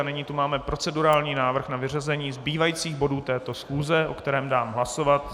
A nyní tu máme procedurální návrh na vyřazení zbývajících bodů této schůze, o kterém dám hlasovat.